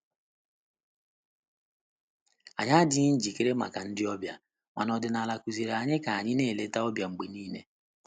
Anyị adịghị njikere maka ndị ọbịa, mana ọdịnala kụziiri anyị ka anyị na eleta ọbịa mgbe niile.